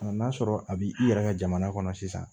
n'a sɔrɔ a bi i yɛrɛ ka jamana kɔnɔ sisan